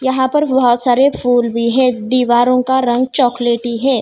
यहाँ पर बहोत सारे फूल भी है दीवारों का रंग चॉकलेटी है।